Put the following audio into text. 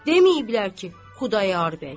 Deməyiblər ki, Xudayar bəy.